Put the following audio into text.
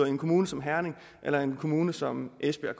i en kommune som herning eller en kommune som esbjerg